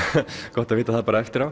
gott að vita það bara eftir á